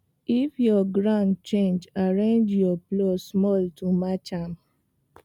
if your ground change arrange your plow small to match am